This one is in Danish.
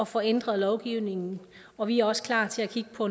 får ændret lovgivningen og vi er også klar til at kigge på